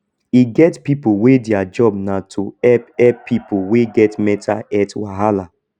e get pipo wey their job na to help help pipo wey get mental health wahala